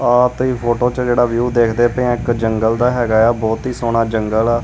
ਆ ਤੁਸੀਂ ਫੋਟੋ ਚ ਜਿਹੜਾ ਵਿਊ ਦੇਖਦੇ ਪਏ ਆ ਇੱਕ ਜੰਗਲ ਦਾ ਹੈਗਾ ਆ। ਬਹੁਤ ਹੀ ਸੋਹਣਾ ਜੰਗਲ ਆ।